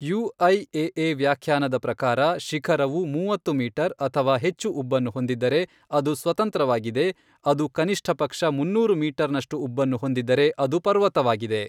UIAA ವ್ಯಾಖ್ಯಾನದ ಪ್ರಕಾರ ಶಿಖರವು ಮೂವತ್ತು ಮೀಟರ್ ಅಥವಾ ಹೆಚ್ಚು ಉಬ್ಬನ್ನು ಹೊಂದಿದ್ದರೆ ಅದು ಸ್ವತಂತ್ರವಾಗಿದೆ ಅದು ಕನಿಷ್ಠ ಪಕ್ಷ ಮುನ್ನೂರು ಮೀಟರ್ ನಷ್ಟು ಉಬ್ಬನ್ನು ಹೊಂದಿದ್ದರೆ ಅದು ಪರ್ವತವಾಗಿದೆ.